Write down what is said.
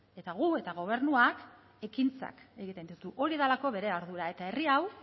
eta gu eta gobernuak ekintzak egiten ditugu hori delako bere ardura eta herri hau